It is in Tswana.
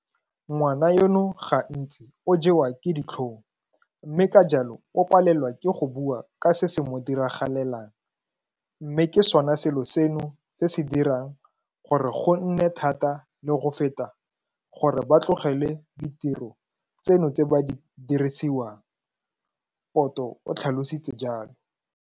Ngwana yono gantsi o jewa ke ditlhong, mme ka jalo o palelwa ke go bua ka se se mo diragalelang, mme ke sona selo seno se se dirang gore go nne thata le go feta gore ba tlogele ditiro tseno tse ba di dirisiwang, Poto o tlhalositse jalo.